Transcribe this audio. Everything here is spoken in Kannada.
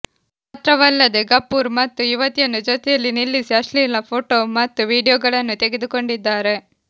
ಮಾತ್ರವಲ್ಲದೇ ಗಫೂರ್ ಮತ್ತು ಯುವತಿಯನ್ನು ಜೊತೆಯಲ್ಲಿ ನಿಲ್ಲಿಸಿ ಅಶ್ಲೀಲ ಫೋಟೋ ಮತ್ತು ವಿಡಿಯೋಗಳನ್ನು ತೆಗೆದುಕೊಂಡಿದ್ದಾರೆ